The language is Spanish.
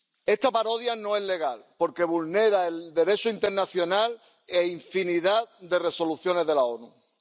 Esta parodia no es legal, porque vulnera el Derecho internacional e infinidad de resoluciones de las Naciones Unidas.